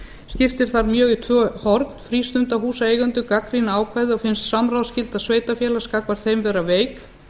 skiptir þar mjög í tvö horn frístundahúsaeigendur gagnrýna ákvæðið og finnst samráðsskylda sveitarfélags gagnvart þeim vera veik